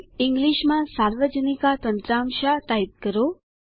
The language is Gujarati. ઈંગ્લીશમાં સાર્વજનિકા તંત્રમશા ટાઈપ કરો